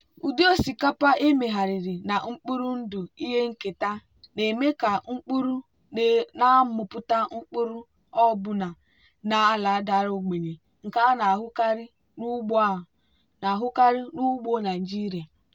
ụdị osikapa emegharịrị na mkpụrụ ndụ ihe nketa na-eme ka mkpụrụ na-amịpụta mkpụrụ ọbụna na ala dara ogbenye nke a na-ahụkarị n'ugbo a na-ahụkarị n'ugbo nigeria.